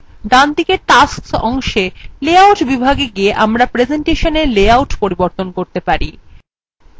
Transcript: ডানদিকে tasks অংশে layout বিভাগে গিয়ে আমরা প্রেসেন্টেশনwe layout পরিবর্তন করতে পারেন